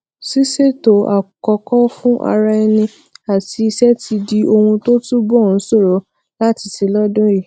ṣíṣètò àkókò fún ara ẹni àti iṣé ti di ohun tó túbò ń ṣòro láti ṣe lódún yìí